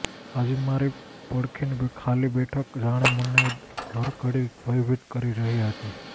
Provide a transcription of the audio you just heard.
આજે મારી પડખેની ખાલી બેઠક જાણે મને હર ઘડી ભયભીત કરી રહી હતી